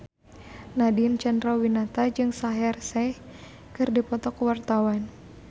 Nadine Chandrawinata jeung Shaheer Sheikh keur dipoto ku wartawan